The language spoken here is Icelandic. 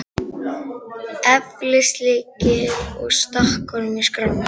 eflis lykil og stakk honum í skrána.